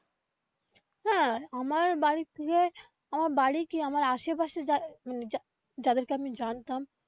হ্যা আমার বাড়ির থেকে আমার বাড়ি কি আমার আসে পাশে যা মানে যাদের কে আমি জানতাম.